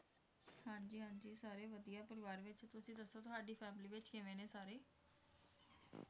ਸਾਰੇ ਵਧੀਆ ਪਰਿਵਾਰ ਵਿੱਚ ਤੁਸੀ ਦੱਸੋ ਤੁਹਾਡੀ family ਵਿੱਚ ਕਿਵੇਂ ਨੇ ਸਾਰੇ